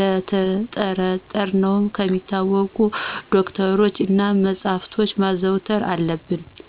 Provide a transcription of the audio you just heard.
ነተጠራጠረን ከሚታወቁ ዶክተሮች እና መጸሐፍቶችን ማዘውተር አለብን።